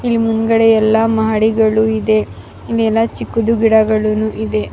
ಹಿಂದ್ಗಡೆ ಎಲ್ಲ ಮಹಡಿಗಳು ಇದೆ ಚಿಕ್ಕದು ಗಿಡ ಇದೆ.